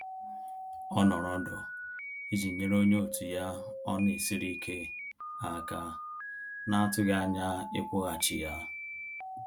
Ọ nọrọ ọdọ iji nyere onye òtù ya ọ na esiri ike aka na-atughi anya ikwughachi ya